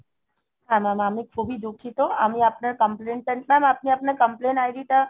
হ্যা Mam আমি খুবই দুঃখিত আমি আপনার complain টা নিলাম আপনি আপনার complain id টা